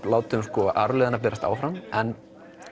látum berast áfram en